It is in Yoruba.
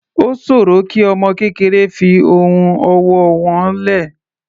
Ó sòro kí ọmọ kékeré fi ohun ọwọ́ wọ́n lẹ̀.